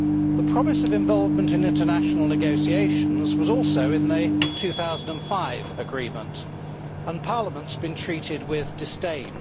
The promise of involvement in international negotiations was also in the 2005 agreement, and Parliament has been treated with disdain.